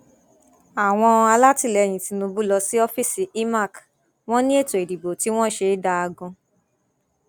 àwọn alátìlẹyìn tinubu lọ sí ọfíìsì imac wọn ní ètò ìdìbò tí wọn ṣe dáa gan